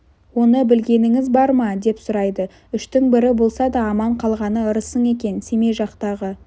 оны білгеніңіз бар ма деп сұрайды үштің бірі болса да аман қалғаны ырысың екен семей жақтағы